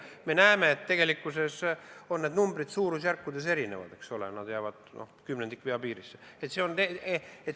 Me näeme, et need numbrid on suurusjärkudes erinevad.